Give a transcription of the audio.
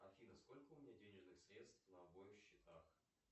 афина сколько у меня денежных средств на обоих счетах